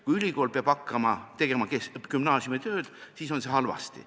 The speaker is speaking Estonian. Kui ülikool peab hakkama tegema gümnaasiumi tööd, siis on halvasti.